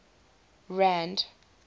rand